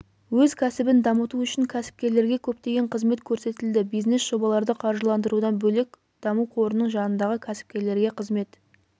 өз кәсібін дамыту үшін кәсіпкерлерге көптеген қызмет көрсетілді бизнес-жобаларды қаржыландырудан бөлек даму қорының жанындағы кәсіпкерлерге қызмет